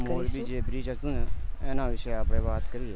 જે bridge હતું ને એના વિષે આપડે વાત કરીએ